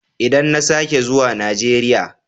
Idan na sake zuwa Najeriya.